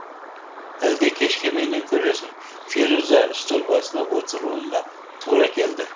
әлде кешке менен көресің феруза стөл басына отыруына тура келді